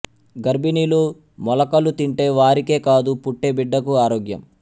గర్భిణులు మొలకలు తింటే వారికే కాదు పుట్టే బిడ్డకూ ఆరోగ్యం